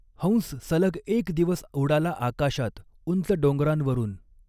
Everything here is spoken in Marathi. हंस सलग एक दिवस उडाला आकाशात, उंच डॊंगरां वरुन.